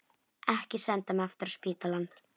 Ekki senda mig aftur á spítalann.